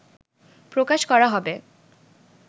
প্রকাশ করা হবে